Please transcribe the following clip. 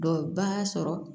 Dɔw b'a sɔrɔ